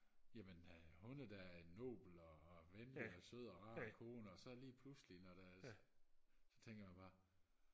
jamen øh hun er da en nobel og og venlig og sød og rar kone og så lige pludselig når der så tænker man bare